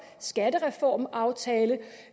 skattereformaftale